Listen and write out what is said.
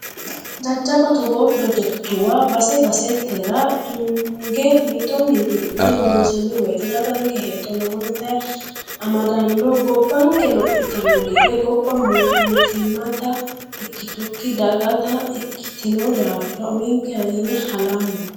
Jajjabba togoo projekkituwa base basetera tunge mixo mixi'ne loonsanni woyte daganke hexxo lowotta amadano gobbanke lophittano gede, gobba mootimmata ikkitukki dagatta ikkitino daafira uminkera yine halammo.